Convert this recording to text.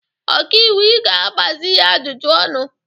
Ọka iwu ị ga-agbazị ya ajụjụ ọnụ!